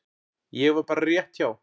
Ég var bara rétt hjá.